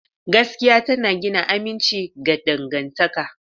Gaskiya tana gina aminci ga dangantaka.